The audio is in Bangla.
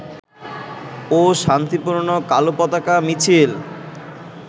ও শান্তিপূর্ণ কালো পতাকা মিছিল